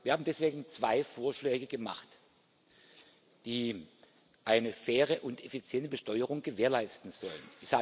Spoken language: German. Wir haben deswegen zwei Vorschläge gemacht, die eine faire und effiziente Besteuerung gewährleisten sollen.